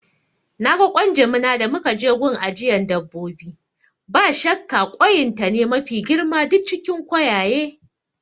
Naga ƙwan jimina da muka je gun ajiyan dabbobi, ba shakka koyin ta ne mafi girma duk cikin koyaye